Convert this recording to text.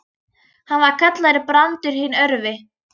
Hann var kallaður Brandur hinn örvi.